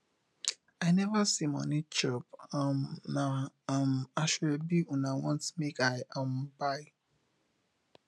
i neva see moni chop um na um asoebi una want make i um buy